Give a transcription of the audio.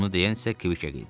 Bunu deyən isə Kviqe idi.